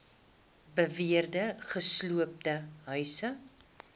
beweerde gesloopte huise